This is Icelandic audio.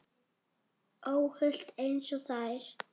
Óhult einsog þær.